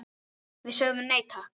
Við sögðum nei, takk!